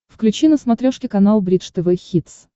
включи на смотрешке канал бридж тв хитс